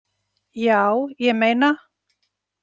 Já, ég meina.